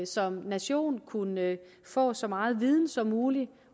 som nation kunne få så meget viden som muligt